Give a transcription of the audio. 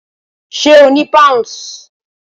Ṣé o ni Pounds?